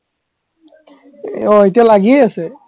অ এতিয়া লাগিয়েই আছে